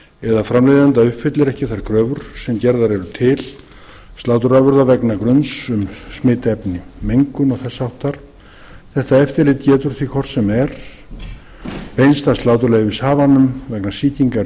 eða framleiðanda uppfyllir ekki þær kröfur sem gerðar eru til sláturafurða vegna gruns um smitefni mengun og þess háttar þetta eftirlit getur því hvort sem er beinst að sláturleyfishafanum vegna sýkingar í